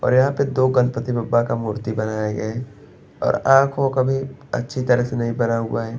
और यहाँ पे दो गणपति बाप्पा का मूर्ति बनाया गया है और आँख ओ अभी अच्छी तरह से नहीं बना हुआ है।